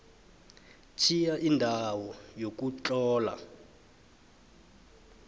tjhiya indawo yokutlola